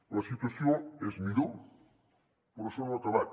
la situació és millor però això no ha acabat